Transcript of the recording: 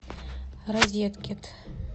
розеткед